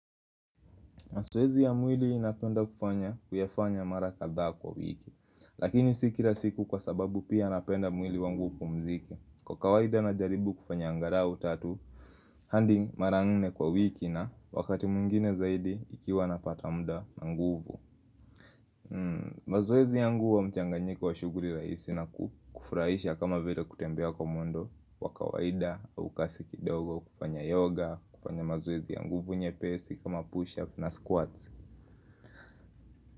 Mazoezi ya mwili napenda kufanya kuyafanya mara kadhaa kwa wiki, lakini si kila siku kwa sababu pia napenda mwili wangu upumzike. Kwa kawaida najaribu kufanya angalau tatu, hadi mara nne kwa wiki na wakati mwingine zaidi ikiwa napata muda na nguvu. Mazoezi yangu huwa mchanganyiko wa shughuli rahisi na kufurahisha kama vile kutembea kwa mwendo, kwa kawaida au kasi kidogo kufanya yoga, kufanya mazoezi ya nguvu nyepesi kama push-up na squats.